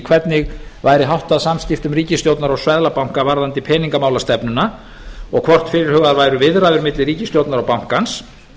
hvernig væri háttað samskiptum ríkisstjórnar og seðlabanka varðandi peningamálastefnuna og hvort fyrirhugaðar væru viðræður milli ríkisstjórnar og bankans